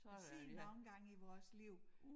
En sjælden omgang i vores liv